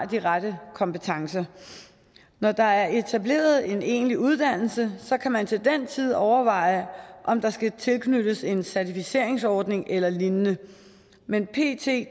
de rette kompetencer når der er etableret en egentlig uddannelse kan man til den tid overveje om der skal tilknyttes en certificeringsordning eller lignende men pt